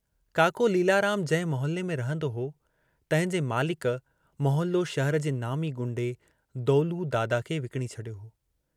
काको लीलाराम जहिं मोहल्ले में रहंदो हो तंहिंजे मालिक मौहल्लो शहर जे नामी गुंडे दौलू दादा खे विकणी छॾियो हो।